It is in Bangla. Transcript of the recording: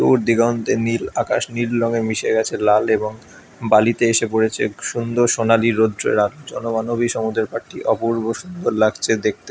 দূর দিগন্তে নীল আকাশ নীল রঙে মিশে গেছে লাল এবং বালিতে এসে পড়েছে সুন্দর সোনালী রোদ্দুরা |জনমানবিক সমুদ্ররে পাখি অপূর্ব সুন্দর লাগছে দেখতে |